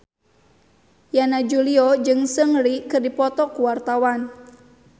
Yana Julio jeung Seungri keur dipoto ku wartawan